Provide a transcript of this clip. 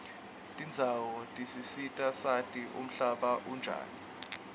tendzawo tisisita sati umhlaba unjani